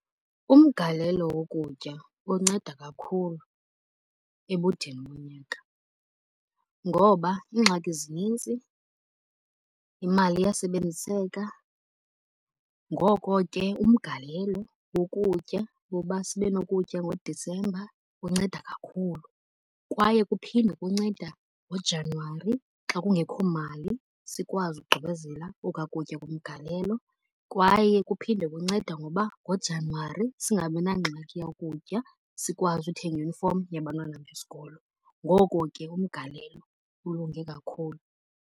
Umgalelo wokutya unceda kakhulu ebudeni bonyaka. Ngoba iingxaki zinintsi, imali iyasebenziseka ngoko ke umgalelo wokutya woba sibe nokutya ngoDisemba unceda kakhulu. Kwaye kuphinde kunceda ngoJanyuwari xa kungekho mali sikwazi ukugqibezela okwa kutya komgalelo. Kwaye kuphinde kunceda ngoba ngoJanyuwari singabinangxaki yakutya, sikwazi uthenga iyunifomi yabantwana besikolo. Ngoko ke umgalelo ulunge kakhulu.